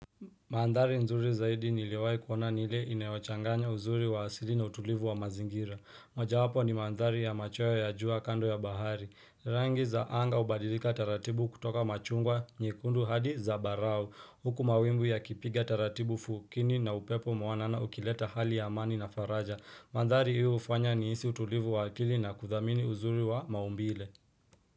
Mandhari nzuri zaidi niliyowai kuona ni ile inayochanganya uzuri wa asili na utulivu wa mazingira. Moja wapo ni mandhari ya machweo ya jua kando ya bahari. Rangi za anga hubadilika taratibu kutoka machungwa, nyekundu hadi zambarau. Huku mawimbu yakipiga taratibu fukini na upepo mwanana ukileta hali ya mani na faraja. Mandhari hiyo hufanya nihisi utulivu wa akili na kuthamini uzuri wa maumbile.